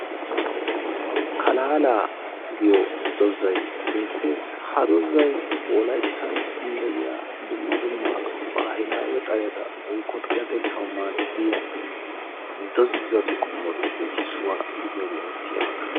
Kalaala giyo dozay beettes; ha dozay wolayttan de'iyaa dumma dumma baahilaawe xaleeta woykko xaletteetaaw madiiyaa dozatu qommotuppe issuwaa giidiyoogee eretiiyaaba.